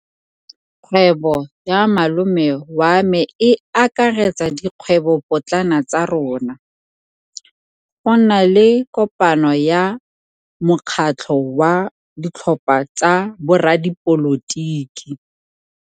Kgwêbô ya malome wa me e akaretsa dikgwêbôpotlana tsa rona. Go na le kopanô ya mokgatlhô wa ditlhopha tsa boradipolotiki.